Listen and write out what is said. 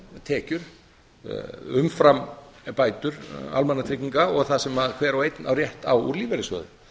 tekjur umfram bætur almannatrygginga og það sem hver og einn á rétt á úr lífeyrissjóði